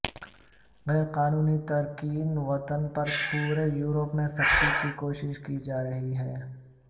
غیر قانونی تارکین وطن پر پورے یورپ میں سختی کی کوشش کی جا رہی ہے